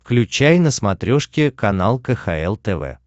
включай на смотрешке канал кхл тв